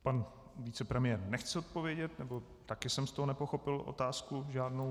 Pan vicepremiér nechce odpovědět, nebo také jsem z toho nepochopil otázku žádnou.